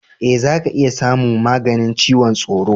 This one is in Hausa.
Ee, za ka iya tsamu maganin ciwon tsoro.